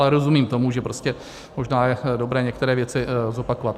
Ale rozumím tomu, že prostě možná je dobré některé věci zopakovat.